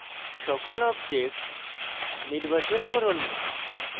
সকল objects নির্বাচন করুন